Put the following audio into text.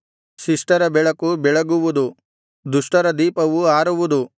ಶಿಷ್ಟರ ಬೆಳಕು ಬೆಳಗುವುದು ದುಷ್ಟರ ದೀಪವು ಆರುವುದು